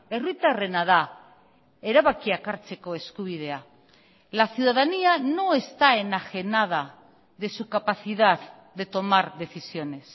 herritarrena da erabakiak hartzeko eskubidea la ciudadanía no está enajenada de su capacidad de tomar decisiones